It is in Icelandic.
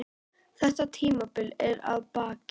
Þetta tímabil er að baki.